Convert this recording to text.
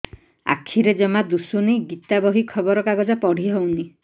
ଆଖିରେ ଜମା ଦୁଶୁନି ଗୀତା ବହି ଖବର କାଗଜ ପଢି ହଉନି